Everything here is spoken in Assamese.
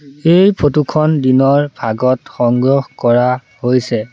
এই ফটো খন দিনৰ ভাগত সংগ্ৰহ কৰা হৈছে।